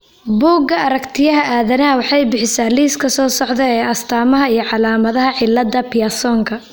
Bugga Aragtiyaha Aadanaha waxay bixisaa liiska soo socda ee astaamaha iyo calaamadaha cillada Pearsonka.